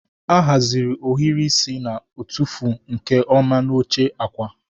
A haziri ohiri isi na-atụfu nke ọma n'oche akwa.